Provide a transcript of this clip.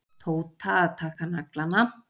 Tóta að taka naglana.